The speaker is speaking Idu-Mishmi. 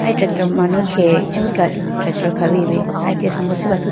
ahi tractor manu khege ichubu tractor khawuyi bi aya chee asambo sirf athuti.